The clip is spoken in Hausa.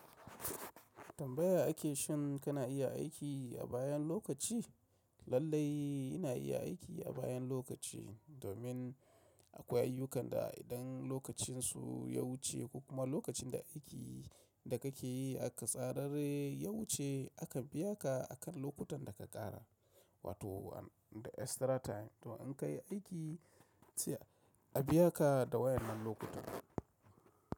Tambaya ake shin kana iya aiki a bayan lokaci? Lallai ina iya aiki a bayan lokaci domin akwai ayyukan da idan lokacinsu ya wuce ko kuma lokacin da aiki da kake yi aka tsara ya wuce aka biya ka akan lokutan da ka ƙara wato the extra time to in ka yi aiki a biya ka da wayan nan lokutan.